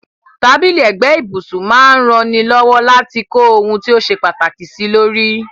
Tábìlì ẹ̀gbẹ́ ibùsun máa n raní lọ́wọ́ láti kó oun ti o se pàtàkì sílórí